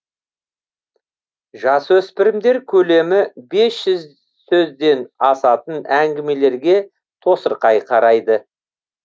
жасөспірімдер көлемі бес жүз сөзден асатын әңгімелерге тосырқай қарайды